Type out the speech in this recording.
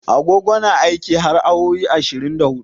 Agogo na aiki har awowi ashirin da hudu.